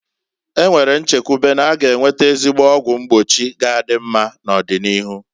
E nwere nchekwube na-aga enwete ezigbo ọgwụ mgbochi ga adị mma n'ọdị n'iru.